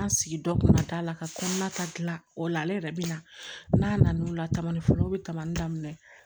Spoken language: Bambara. Ŋa sigi dɔ kunna t'a la ka kɔnɔna ta gila o la ale yɛrɛ bi na n'a na o la kaman folo be kaman daminɛ